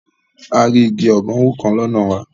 A rí igi ọ̀gánwó kan lọ́nà wa